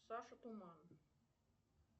саша туман